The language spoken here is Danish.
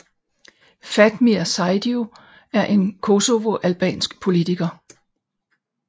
Fatmir Sejdiu er en Kosovo albansk politiker